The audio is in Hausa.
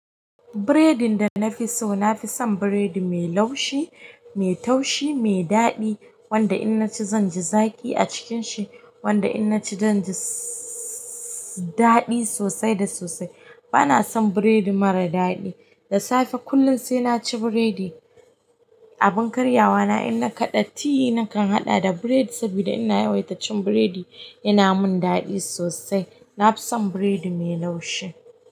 Biredin da na fi so, na fi son biredi mai laushi, mai taushi, mai daɗi, wanda in naci zan ji zaƙi a cikinshi, wanda in naci zan ji sss daɗi sosai da sosai. Bana son biredi mara daɗi. Dasafe kullun sai naci biredi a bunkar yawana in na kaɗa ti nakan haɗa da biredi saboda ina yawaita cin biredi, yana mun daɗi sosai. Na fi son biredi mai laushi.